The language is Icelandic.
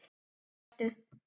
Það ertu.